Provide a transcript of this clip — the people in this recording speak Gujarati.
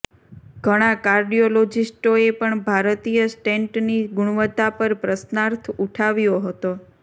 ઘણા કાર્ડિયોલોજિસ્ટોએ પણ ભારતીય સ્ટેન્ટની ગુણવત્તા પર પ્રશ્નાર્થ ઊઠાવ્યો હતો